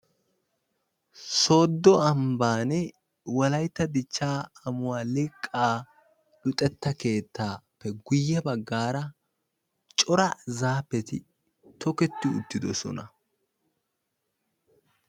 Sooddo ambbaani wolayitta dichchaa amuwaa liqaa luxetta keettappe guyee bagaara cora zaafeti toketti uttidosona.